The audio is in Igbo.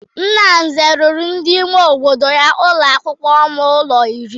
Nna Nze rụrụ ndị ime obodo ya ụlọakwụkwọ ọnụ ụlọ iri.